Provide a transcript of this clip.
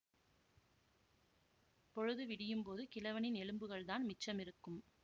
பொழுது விடியும்போது கிழவனின் எலும்புகள்தான் மிச்சமிருக்கும்